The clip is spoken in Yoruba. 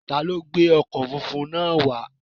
Ta ló gbé ọkọ̀ funfun náà wá?